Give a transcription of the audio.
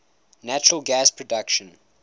natural gas production